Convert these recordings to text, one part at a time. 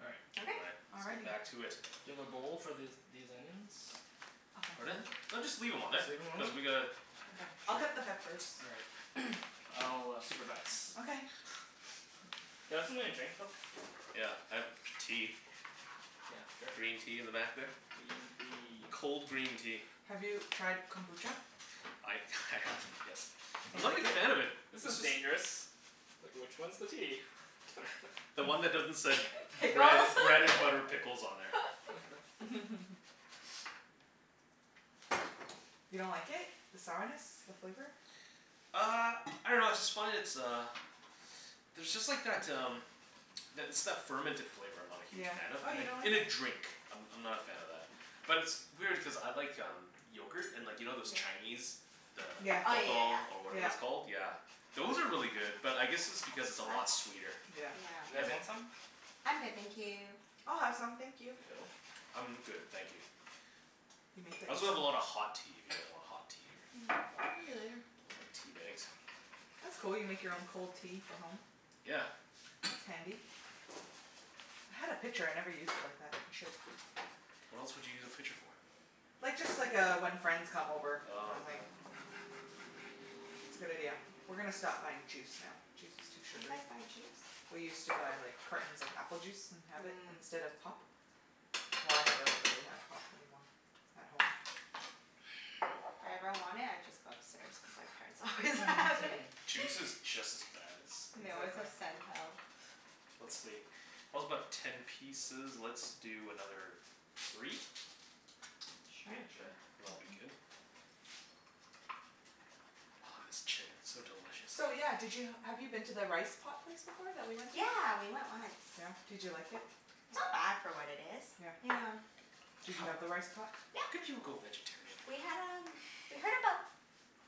All right. All Okay. right. Let's get Alrighty. back to it. Do you have a bowl for this these onions? Pardon? No. just leave them on Just leave them on Cuz there? we gotta Okay, I'll cut the peppers. All right. I'll supervise. Okay Can I have something to drink, Phil? Yeah, I have tea. Yeah, sure. Green tea in the back there. Green tea. Cold green tea. Have you tried kombucha? I I have, yes. I'm not a big fan of it. This is dangerous. Like, which one's the tea? The one that doesn't said bread Pickles bread and butter pickles on there. You don't like it? The sourness? The flavor? Uh, I dunno I just find it's uh, there's just like that um that it's that fermented flavor I'm not a huge Yeah. fan of Oh, you don't like In a it? drink, I'm I'm not a fan of that. But it's- it's weird, cuz I like um, yogurt. And you know those Chinese, the Yeah, Oh, yeah, yeah, pathal, or whatever it's yeah. called. yeah. Yeah, those are really good. But I guess it's because it's a lot sweeter. That's You yeah. Yeah. guys want some? I'm good thank you. I'll have some, thank you. Phil? I'm good, thank you. You make that I also have yourself? a lot of hot tea, if you guys want hot tea or Maybe later. I want tea bags. That's cool, you make your own cold tea for home. Yeah. That's handy. I had a pitcher, I never used it like that. I should. What else would you use a pitcher for? Like, just like uh, when friends come over kinda thing. Oh, yeah. It's a good idea. We're gonna stop buying juice now. Juice is too You sugary. guys buy juice? We used to buy like cartons of apple juice and have it Mhm. instead of pop. Well, I never really have pop anymore at home. If I ever want it, I just go upstairs, cuz my parents always have it. Juice is just as bad And they as always Exactly. have Sental. Let's see. about ten pieces. Let's do another, three? Sure. Yeah, Yeah, sure. and it'll be good? Ah this chicken, so delicious. So yeah, did you have you been to the rice pot place before that we went to? Yeah, we went once. Yeah? did you like it? It's not bad for what it is. Yeah Yeah. Did you have the rice pot? How could Yeah. you go vegetarian? We had um we heard about.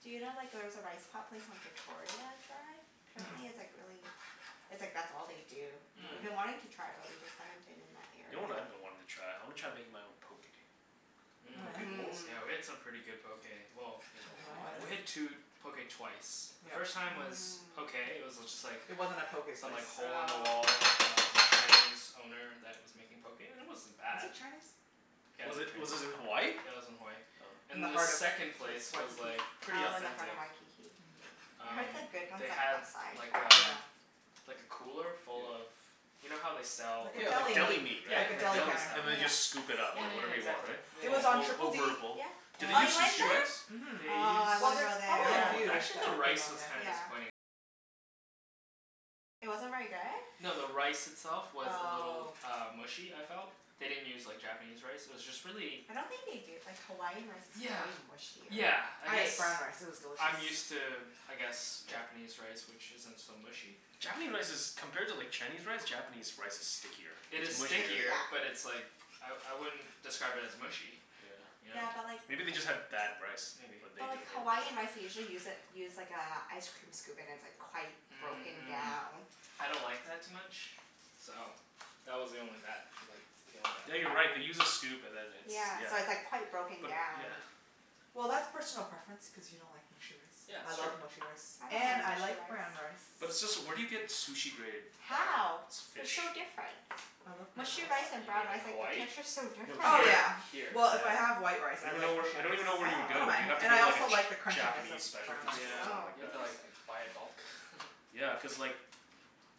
Do you know like there's a rice pot place on Victoria I tried? Mm- mm. Apparently, it's like really it's like that's all they do. We've Mhm. been wanting to Mhm. try it, but we just haven't been in that You know area. what I've been wanting to try? I want to try making my own. Poke Oh Mhm. yeah? bowls? Mhm, yeah. Mhm. Yeah, we had some pretty good poke. Well, In we had two Hawaii poke twice. The Yeah. first time was okay. It was just like It wasn't a poke Some place. like hole in Mmm. the Oh. wall um, Cantonese owner that was making poke and it wasn't Was bad. it Chinese? Yeah it Was was it was it in Hawaii? Chinese. Yeah it was in Hawaii. Oh. In the And the heart of second Wa- place was Waikiki. like, pretty Oh, in the heart authentic. of Waikiki. Mhm. Oh. I heard Um, that good they ones had like um Yeah. like a cooler full of, you know how they sell Like a like Yeah, like deli deli Yeah, meat, meat. Like a right? like deli deli counter. And then they Yeah, Yeah, just scoop it yeah, up, yeah. like whatever yeah, you Yeah. want, exactly. Yeah, It was right? on All Triple D yeah. over a bowl. Yeah. Did and they Oh you use the Beach went sushi Street, rice? there? mhm. Oh, I Well, wanna there's go probably a there. few that have been on there. Yeah. No, the rice itself was a little Oh. uh mushy, I felt. They didn't use like Japanese rice, it was just really I don't think they do, like Hawaiian rice is Yeah, pretty mushier. yeah, I I guess ate brown rice. It was delicious. I'm used to, I guess Japanese rice which isn't so mushy. Japanese rice is compared to like Chinese rice, Japanese rice is stickier, It it's is It's sticky, mushier stickier, but yeah. it's like, I I wouldn't describe it as mushy, you know? Yeah. Yeah, but like Maybe they just had bad rice, Maybe or they But like Hawaiian rice, they usually use a use like a ice cream scoop and like it's quite broken Mhm down. I don't like that too much, so that was the only that like that was the only Yeah, you're right. They bad thing. use a scoop and then it's, Yeah, yeah. so it's like quite broken But, down. yeah. Well, that's personal preference, cuz you don't like mushy rice. Yeah I that's true. love mushy rice I don't and mind I mushy like brown rice. rice. But where do you get sushi-grade, uh How? They're fish? so different. I love brown In Mushy rice Hawa- and you brown mean rice. rice, in like the Hawaii? texture's so No, different. Oh here, yeah, here, Here. well, if I have yeah. white rice, I I don't even like kno- mushy I rice. don't even know where you would I don't go. mind. You'd have to Oh. And go I to also like the a crunchiness of Japanese brown specialty rice. store or Yeah, Oh, something like you have that. to like interesting. buy it bulk. Yeah, cuz like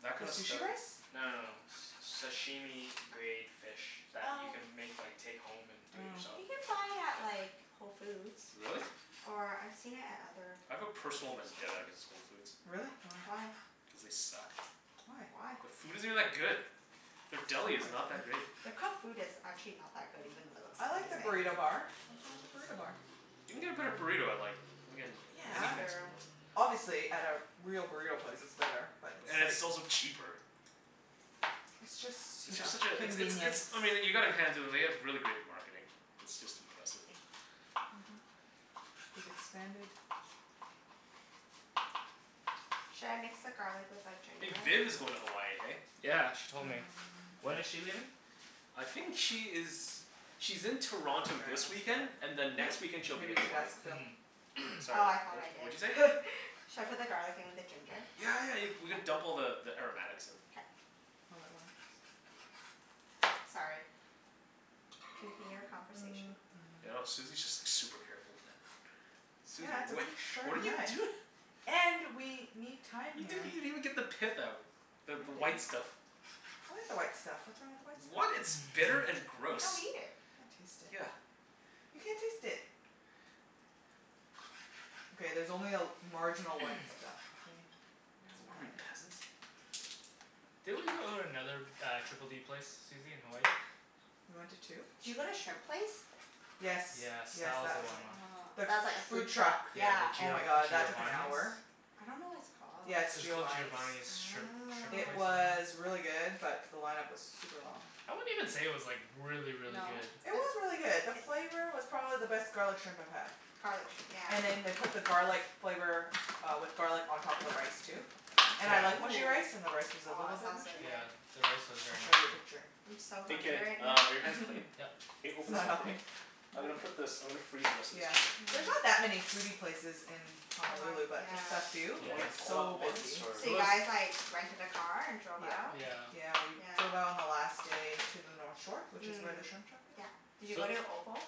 that The kind of stuff sushi rice? No no it's no, s- sashimi grade fish that you Oh. can make like take home and do it Oh. yourself. You can buy it at like, Whole Foods. Really? Or I've seen it at other I have a grocery personal vendetta stores. against Whole Foods. Really? Why? Why? Cuz they suck. Why? Why? The food isn't that good. Their deli is not that great. Their cooked food is actually not that good, even though it looks I like the amazing. burrito bar. Nothin' wrong with the burrito bar. You can get a better burrito I like. Yeah. It's fair. Obviously, at like a real burrito place, it's better. But it's And it's like also cheaper. It's It's just you know, just such a it's it's convenience. it's I mean you gotta hand it to them, they have really great marketing. It's just impressive. Mhm. They've expanded. Should I mix the garlic with the Hey, ginger? Vin is going to Hawaii, hey? Yeah, she told me. Um When When? is she leaving? I think she is, she's in I'm Toronto not this sure, weekend and ask then next Phillip. weekend, she'll be Maybe in you Hmm? should Hawaii. ask Phil. Mhm Sorry, Oh, I thought wha- I what'd you say? did Should I put the garlic in with the ginger? Yeah, yeah, you we can dump all the the aromatics in. K. All at once. Sorry, continue your conversation. I know, Susie's just like super careful with that. Susie, Yeah it's a wha- really what are sharp you knife. doi-? And, we need time You didn't here. even even get the pith No out, the I the didn't. white stuff. I like the white stuff. What's wrong with the white What? stuff? It's bitter and You gross." don't Can't eat it. taste Yeah. it. You can't taste it. Okay, there's only a marginal white stuff, okay? It's What are we? fine. Peasants? Didn't we go to another uh, Triple D place Susie, in Hawaii? We went to two? Did you go to shrimp place? Yes, Yes, yes, that was that the was line it. Ah, The one. that's like a food food truck, truck. Yeah, the yeah. Oh Gio- my god that took an Giovani's. hour. I don't know what it's called. Yeah it's It was called Giovani's. Giovani's shrimp shrimp It place or Oh. was something? really good, but the line-up was super long. I wouldn't even say it was like, really, really No? good It was really good. The flavor was probably the best garlic shrimp I've had. Garlic shrimp, yeah. And then they put the garlic flavor uh, with garlic on top of the rice too. And I Yeah. like mushy rice and the rice was Ooh, a aw, little bit sounds so mushy. Yeah, good. the rice was I'll very show ya a mushy. picture. I'm so Hey hungry Kenny, right uh now are your hands clean? Yep. Hey it's open this not up for me? helping? I'm Nope. gonna put this I'm gonna freeze the rest of this Yeah. chicken. There's not that Hm. many foodie places in Hawaii, Honolulu, but just the yeah. few who Yeah. Want get it all at so once, busy. or? So It you was guys like, rented a car and drove Yeah, out? Yeah. yeah we drove out Yeah. on the last day to the north shore, which is Mhm, where the shrimp truck is. yeah. Did you So go to Opal?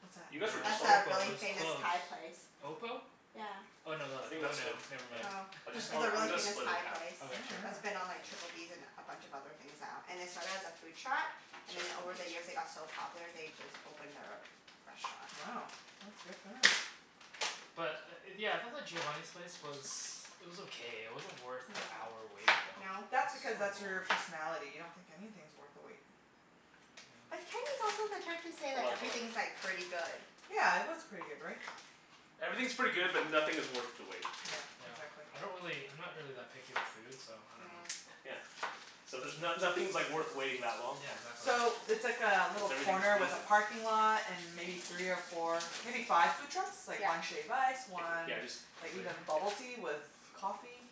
What's that? You guys were That's just on No, a the Opal, it really was famous closed. Thai place. Opal? Yeah. Oh, no tha- I think oh that's good, no, never m- mind. Oh, I'll jus- it's a really I'm gonna famous split it Thai half. place Oh Okay, sure. That's wow. been on Triple Ds and a bunch of other things now. And they started as a food truck So I have and then to over open the this. years they got so popular, they just opened their restaurant. Wow, that's good for them. But uh yeah, I thought the Giovani's place was it was okay. It wasn't worth the hour Mhm. wait though. No? That's So because, long. that's your personality. You don't think anything's worth the wait. But Kenny's Yeah. also the type to say Hold like, on, hold on. everything's like, pretty good. Yeah, it was pretty good, right? Everything's pretty good, but nothing is worth the wait. Yeah, Yeah, exactly. I don't really I'm not really that picky with food so I don't know. Mm. Yeah, so there's no- nothing's like worth waiting that long Yeah, for. exactly. Cuz So, it's like a little everything's corner with decent. a parking lot and maybe three or four, maybe five food trucks? Like Yeah. one shave ice, one yeah just like leave it here, even bubble tea yeah. with coffee.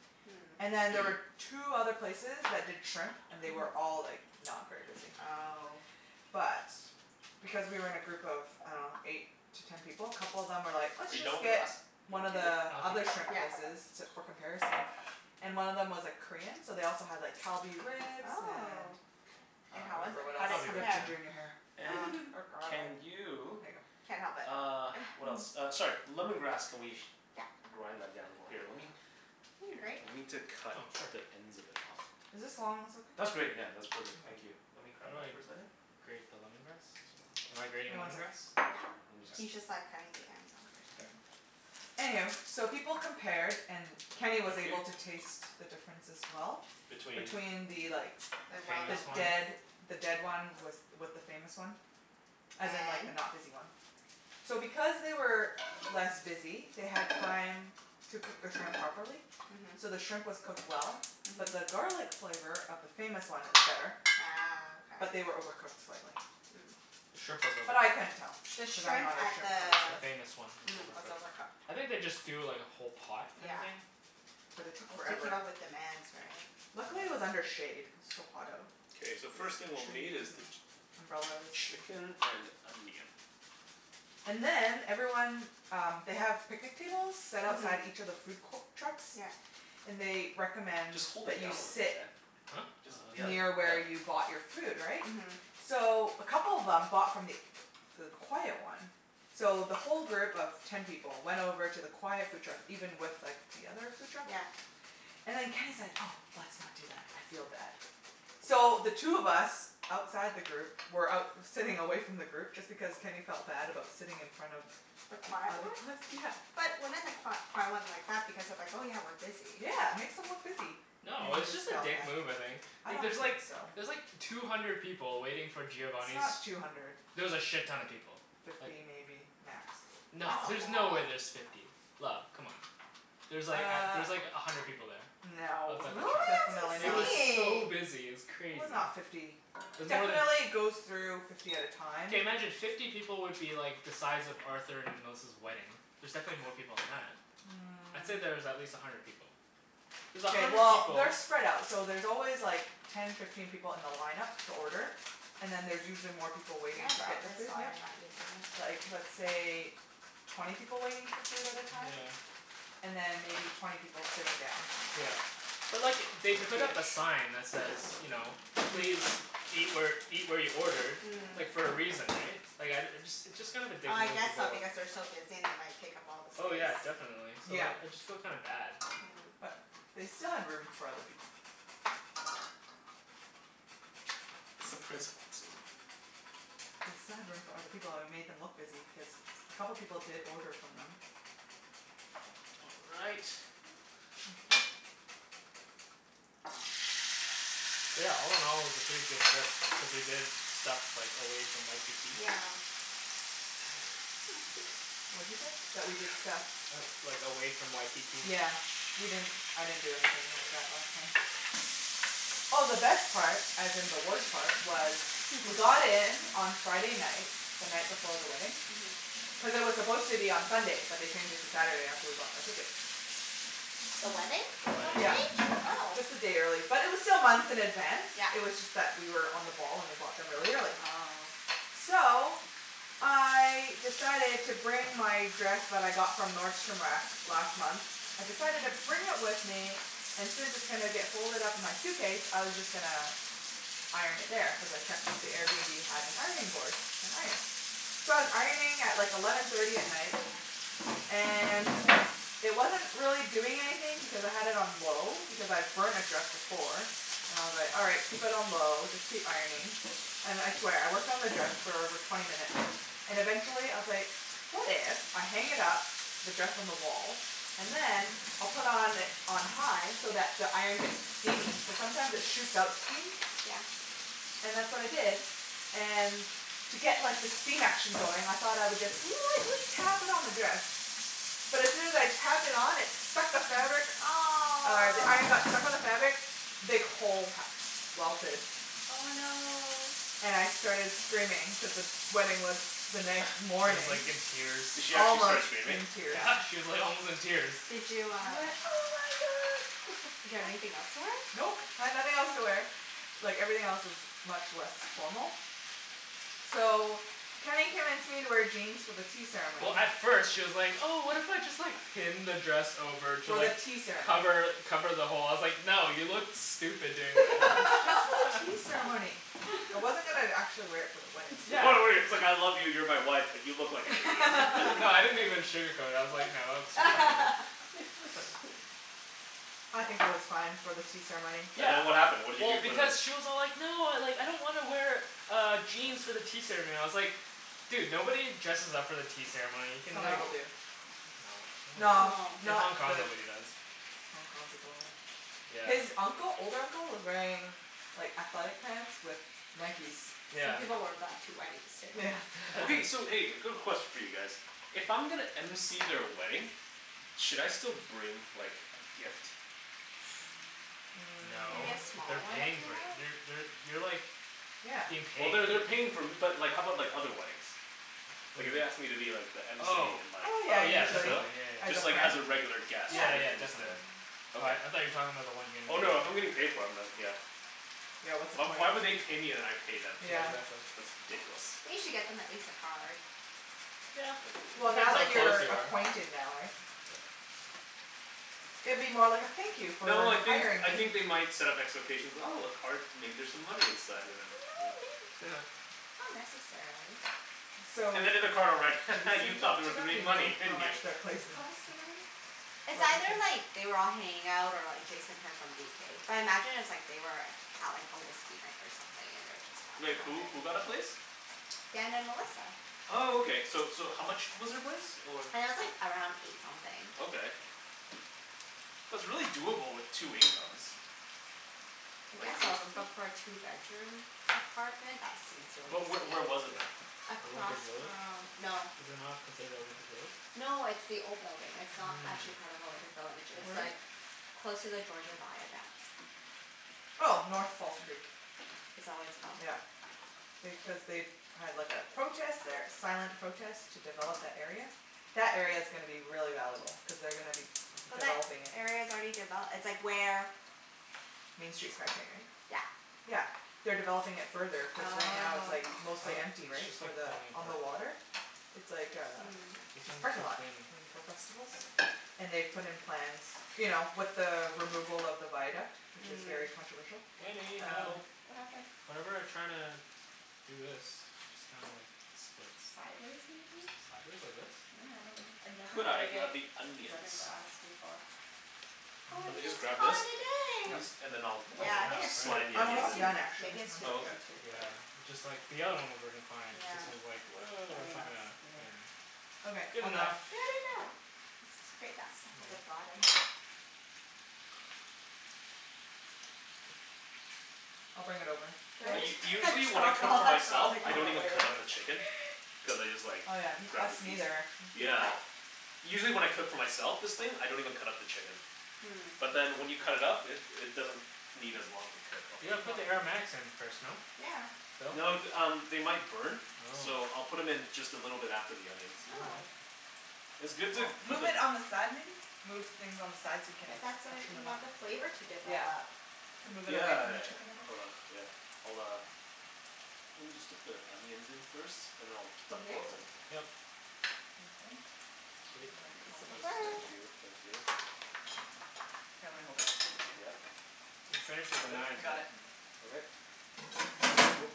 And then there Mm. were two other places that did shrimp. And they were Mhm. all like, not very busy. Oh. But, because we were in a group of I dunno, eight to ten people, a couple of them were like, "Let's Are you just going to get one of the other shrimp places". I'll keep it Yeah. for comparison. And one of them was like Korean, so they also had like Kalbi ribs and Oh. And I And don't how was remember it? what How else. did it Kalbi You have ribs, compare? ginger in your hair. yeah. And or can garlic. There you, ya go. Can't help it uh what else? Uh sorry. Lemon grass. Can we Yeah. grind that down more? Here lemme, Need a grate? we need to cut Oh sure. the ends of it off. Is this long ones That's okay? great yeah, All that's perfect. Thank you. Let right. me How grab do that I for a second. grate the lemon grass? Am I grating Wait, one lemon sec grass? Yeah, he's just Okay. like cutting the ends off or Okay. something. Anywho, so people compared and Thank Kenny you. was able to taste the difference as well. Between? between the like, the Famous one? dead the dead one with with the famous one. As in like the And? not busy one. So because they were less busy, they had time to cook the shrimp properly. Mhm. So the shrimp was cooked well, but the Mhm. garlic flavor of the famous one, it was better. Ah. But Okay. they were overcooked slightly. The shrimp Mm. was But I overcooked. couldn't tell The because I'm shrimp not a at shrimp the The connoisseur. famous one was mm was overcooked. overcooked. I think they just do like a whole pot kinda Yeah. thing. But it took forever. Luckily, it was Uh under shade, cuz it's so hot out. Okay, It's so the like first thing the we'll need trees is the, and umbrellas. chicken and onion. And then everyone um, they have picnic tables, set outside each Mhm. of the food co- trucks, Yeah. and they recommend Just hold that it you down sit Huh? Jus- yeah, near yeah. where you Oh bought your food, right? Mhm. So a couple of them bought from th- the quiet one. So the whole group of ten people went over to the quiet food truck even with like the other food truck. Yeah. And then Kenny's like, "Oh, let's not do that, I feel bad." So, the two of us outside the group were out sitting away from the group just because Kenny felt bad about sitting in front of The the quiet other one? bus, yeah. But wouldn't the qui- quiet one like that because they're like, "Oh yeah, we're busy." Yeah, it makes them look busy. No, Kenny it was just just a felt dick bad. move I think. I Like don't there's think like, so. there's like two hundred people waiting for It's Giovani's not two hundred. There was a shit-ton of people, like Fifty maybe, max. No, That's a there's no way lot. there's fifty, love, c'mon. There's like Uh, there's like a hundred people there. no. Outside the Really? truck. Definitely, It That's was not. so insane! busy, it was It was crazy. not fifty. It was more tha- Definitely goes through fifty at a time. Okay, imagine fifty people would be like the size of Arthur and Melissa's wedding. There's definitely more people than that. I'd say that there's at Mm. least a hundred people. There's a OK, hundred well people they're spread out. So there's always like ten, fifteen people in the line-up to order. And then there's usually more people Can waiting I to get borrow their this food, while yeah. you're not using Like, it? let's say twenty people waiting for food at a time? And Yeah. then maybe twenty people sitting down. Yeah. But look it, they put up a sign that says you know, please Fiftyish eat where eat where you ordered Mm. like, for a reason, eh? Like, I uh, it's just kind of a dick I move to guess go so, up because they're so busy and they might take up all the Oh space. yeah, definitely. So Yeah, like, I just feel kinda bad. but Oh. they still had room for other people. It's the principle too. They still had room for other people and we made them look busy because a couple of people did order from them. All right. Thank you. Yeah, all- in- all, it was a pretty good trip, cuz we did stuff like away from Waikiki. Yeah. What you say? That we did stuff? Like away from Waikiki. Yeah, we didn't I didn't do anything like that last time. Oh, the best part, as in the worst part was. We got in on Friday night, the night before the wedding, Mhm. cuz it was supposed to be on Sunday but they changed it to Saturday after we bought our ticket. The wedding? The That wedding, yeah. Yeah, changed? Oh. just a day early. But it was still months in advance, Yeah. it was just that we were on the ball and we bought them really early. Oh. So, I decided to bring my dress that I got from Nordstrom Rack last month. I decided to bring it with me and since it's gonna get folded up in my suitcase, I was just gonna iron it there, cuz I checked that the Airbnb have an ironing board, an iron. So I was ironing at like eleven thirty at night and it wasn't really doing anything because I had it on low because I've burnt a dress before, and I was like, "All right, keep it on low, just keep ironing." And I swear, I worked on the dress for over twenty minutes and eventually I was like, "What if I hang it up, the dress on the wall, and then, I'll put on on high so that the iron gets steamy?" Cuz sometimes it shoots out steam. Yeah. And that's what I did. And to get like the steam action going, I thought I would just lightly tap it on the dress. But as soon as I tapped it on, it stuck to the fabric, uh the iron got Aw! stuck to the fabric big hole ha- welted Oh no. And I started screaming cuz the wedding was the She next was morning. like in tears. Did she actually start Almost screaming? in tears. Yeah, she was like almost in tears. Did you I uh went, "oh my god!" Did you have anything else to wear? Nope, I had nothing else to wear. Like, everything else was much less formal. So, Kenny convinced me to wear jeans for the tea Well, ceremony. at first, she was like, "Oh, what if I just like pin the dress over to For the like tea ceremony. cover cover the hole?" I was like, "No, you look stupid doing Just for the that." tea ceremony. I wasn't even actually wear it for the wedding it's like I love you, you're my wife, but you look like an idiot. No I didn't even sugarcoat it. I was like, "No, that looks retarded" I think it was fine for the tea ceremony. And then what happened? What did you Well, do for the? because she was all like, "No, I don't want to wear uh jeans for the tea ceremony." I was like, "Dude, nobody dresses up for the tea ceremony. You can Some like" people No? do. No, nobody No, does. No! In not Hong Kong, the nobody does. Hong Kong people, yeah. Yeah. His uncle old uncle was wearing like athletic pants with Nikes. Some Yeah. people wear that to weddings too. Yeah. Okay, so hey, a quick question for you guys. If I'm gonna MC their wedding, should I still bring like a gift? No. Maybe a Mm. small They're one if paying you for it. want. You're they're you're like Yeah. being Well, paid. they're they're paying for but like how about like other weddings? What Like do if you they mean? asked me to be like the MC Oh in like, Oh yeah, oh should yeah, I usually. still? definitely. Yeah, yeah, As a Just like friend? as a yeah. regular guest, Yeah. Yeah, right? yeah I'm just there. definitely. Mhm. Okay. I I thought you were talking about the one you were getting Oh paid no, if I'm for. getting paid for, I'm not, yeah. Yeah, what's the point? Why would they pay me and I pay them? Yeah. that's why. That's ridiculous. They should get them at least a card. It Well, depends now how that close you're you are. acquainted now, right? Yeah. It'd be more like a thank you for No, I think hiring I me. think they might set up expectations, "Oh, a card, maybe there's some No, money inside," and then, yeah. may- not necessarily. So, And then in the card I'll write, "Ha ha, you Jason thought talked there to was gonna them. Do be you know money, how didn't you?" much their place cost and everything? It's either like, they were all hanging out or like Jason heard from BK. But I imagine it was like they were out like on whiskey night or something and they were just talking Like about who? it. Who got a place? Dan and Melissa. Oh, okay. So so how much was their place or? It was like around eight something. Okay, that's really doable with two incomes. I Like guess eight so, something? but for a two bedroom apartment that seems But really wh- steep. where was it though? Olympic Across Village. from, no. Is it not considered Olympic Village? No, it's the old building. It's not actually Mm. part of Olympic Village. I see. It's Where is like it? close to the Georgia Viaduct. Oh. North False Creek. Is that what it's called? Yeah. They, cuz they had like a protest there. Silent protest to develop that area. That area's gonna be really valuable cuz they're gonna be But that developing it. area's already devel- it's like where Main Street SkyTrain, right? Yeah. Yeah. They're developing it further cuz right now it's Oh. like Oh, mostly empty, it's right? just For like the, falling on apart. the water? It's like a Mm. This just one's parking too lot. thin. And for festivals. And they've put in plans, you know, with the removal of the viaduct, which is very Mm. controversial, Wenny, um help. What happened? Whenever I try to do this it just kinda like splits. Sideways, maybe? Sideways like this? Yeah, I dunno. I never Could I braided grab the onions? lemongrass before. Do Or you want Mm. me to just just grab call this? it a At day. Yep. least, and then I think I'll that's I'll Yeah, I like think half, it's too, right? slide the oh I'm maybe it's onions almost in? too, done, actually. maybe it's One too Oh, second. thin okay. to braid. Yeah, it just like, the other one was working fine but Yeah. this one's like, woah, I that's mean, not let's, gonna, yeah. anything. Okay. Good All done. enough. Good enough. Let's just grate that stuff at the Yeah. bottom. I'll bring it over. Did Phil? U- I usually just when I drop cook all for that myself garlic I on the don't even way pretty over? cut up the much. chicken. Cuz I just like Oh, yeah. Us grab the piece. neither, actually. You Yeah. what? Usually when I cook for myself, this thing, I don't even cut up the chicken. Mm. But then when you cut it up it it doesn't need as long to cook. You Okay. You gotta put the wanna aromatics in first, no? Yeah. Phil? No th- um, they might burn. Oh. So I'll put 'em in just a little bit after the onions. All Oh. right. It's good to Well, put move it them on the side, maybe? Move things on the side so you can But that's what, freshen you them up. want the flavor Yeah. to Yeah. develop. Could move it Yeah away yeah from the yeah. chicken a bit. Hold on. Yeah. I'll uh Let me just get the onions in first, and then I'll You dump good? those in. Yep. Sounds good. I Sweet. Bend can help you this compost. over. Thank you. Thank you. Here, let me hold it. Yep. You've finished with the Got it? I knives, eh? got it. Yeah. Okay. Woop.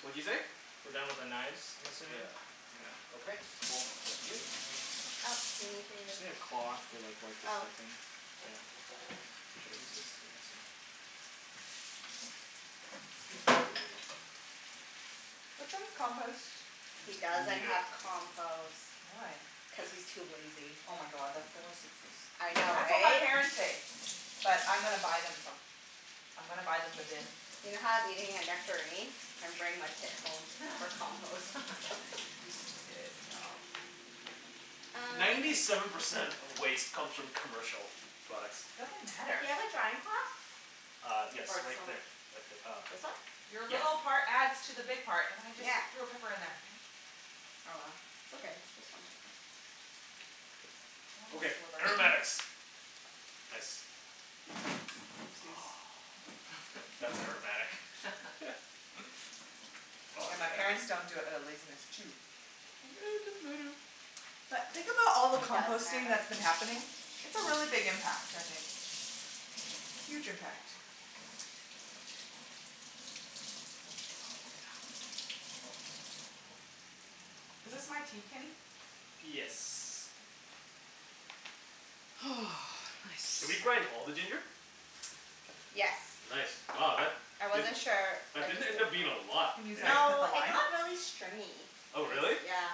What'd you say? We're done with the knives, I'm assuming? Yeah. Yeah. Okay, cool. Thank you. Uh Oh, do you need to Just need a cloth to like wipe the Oh. stuffing. Yeah. Should I use this? I guess so. Excuse me. Which one's compost? He Me doesn't neither. have compost. Why? Yeah. Cuz he's too lazy. Oh my god, that's the worst excuse. I know, That's what my right? parents say. But I'm gonna buy them some. I'm gonna buy them the bin. You know how I was eating a nectarine? I'm bringing my pit home for compost. Good job. Uh Ninety seven percent of waste comes from commercial products. Doesn't matter. Do you have a drying cloth? Uh yes. Or Right there. somewhere Right th- uh This one? Your Yeah. little part adds to the big part. And I just Yeah. threw a pepper in there. Damn it. Oh well, it's okay. It's just one pepper. One Okay. sliver. Aromatics. Nice. Oopsies. That's aromatic. Oh, Yeah, my parents yeah. don't do it outta laziness, too. Think, "Oh, it doesn't matter." But think about all the It does composting matter. that's been happening. It's a really big impact, I think. Huge impact. Oh Oh yeah. no. Is this my tea, Kenny? Yes. Did we Nice. grind all the ginger? Yes. Nice. Wow, that I wasn't didn't, sure. I that didn't just did end it up being a lot, Can use hey? that to cut No, the it lime? got really stringy. It Oh was, really? yeah.